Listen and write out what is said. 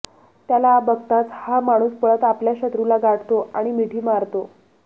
त्याला बघताच हा माणूस पळत आपल्या शत्रूला गाठतो आणि मिठी मारतो